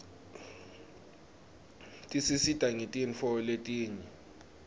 tisisita ngetintfo letinyeti